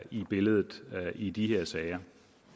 i billedet i de her sager